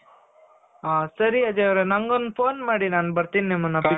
ಹ ಸರಿ ಅಜಯ್ನ ಅವರೇ ನಗೊಂದು phone ಮಾಡಿ. ನಾನು ಬರ್ತೀನಿ ನಿಮ್ಮನ್ನ